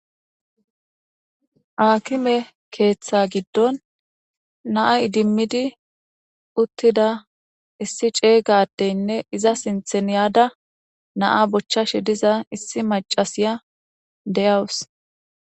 Akime ketha gidon na edimidi utida issi c'ega adene iza sintan yada na bochashe diza issi mac'asiya deyawus.